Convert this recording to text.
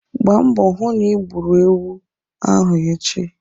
Gbaa mbọ hụ na ị gburu ewu ahu echi!